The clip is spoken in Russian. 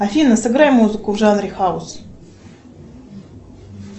афина сыграй музыку в жанре хаус